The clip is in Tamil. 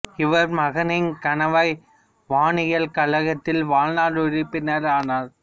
இவர் மகோனிங் கணவாய் வானியல் கழகத்தில் வாழ்நாள் உறுப்பினர் ஆனார்